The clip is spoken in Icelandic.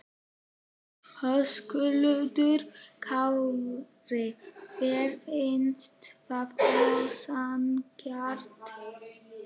Höskuldur Kári: Þér finnst það ósanngjarnt?